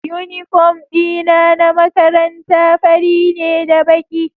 Uniform dina na makaranta fari ne da baki